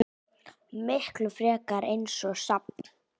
Miklu frekar eins og safn.